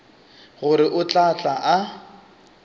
gore o tla tla a